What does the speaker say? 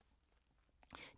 DR K